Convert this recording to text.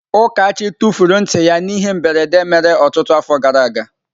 Ukachi tufuru nti ya n'ihe mberede mere ọtụtụ afọ gara aga.